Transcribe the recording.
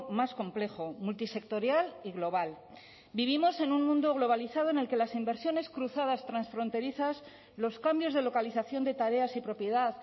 más complejo multisectorial y global vivimos en un mundo globalizado en el que las inversiones cruzadas transfronterizas los cambios de localización de tareas y propiedad